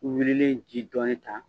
Ni wilili ye ji dɔɔnin ta